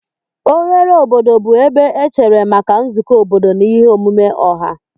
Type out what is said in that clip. Oghere obodo bụ ebe echere maka nzukọ obodo na ihe omume ọha.